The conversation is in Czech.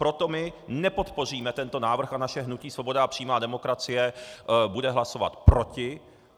Proto my nepodpoříme tento návrh a naše hnutí Svoboda a přímá demokracie bude hlasovat proti.